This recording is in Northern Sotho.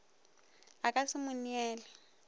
a ka se mo neele